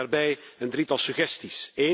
Ik heb daarbij een drietal suggesties.